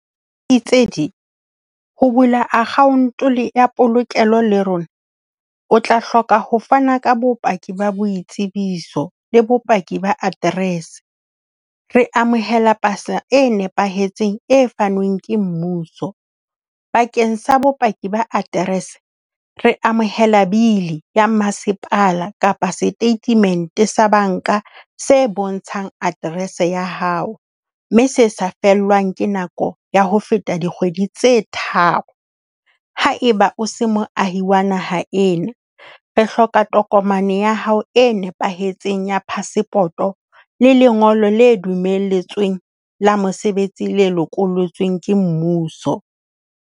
ho bula account ya polokelo le rona o tla hloka ho fana ka bopaki ba boitsebiso le bopaki ba dddress. Re amohela pasa e nepahetseng e fanweng ke mmuso. Bakeng sa bopaki ba aterese re amohela bili ya masepala kapa statement sa banka se bontshang aterese ya hao, mme se sa fellwang ke nako ya ho feta dikgwedi tse tharo. Haeba o se moahi wa naha ena, re hloka tokomane ya hao e nepahetseng ya phasepoto le lengolo le dumelletsweng le mosebetsi le lokollotsweng ke mmuso.